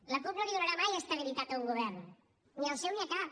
la cup no li donarà mai estabilitat a un govern ni al seu ni a cap